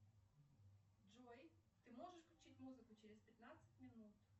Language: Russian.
джой ты можешь включить музыку через пятнадцать минут